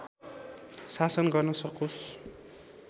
शासन गर्न सकोस्